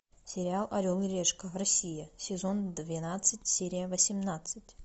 сериал орел и решка россия сезон двенадцать серия восемнадцать